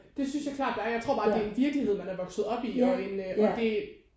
Det synes jeg klart der er jeg tror bare det er en virkelighed man er vokset op i og en og det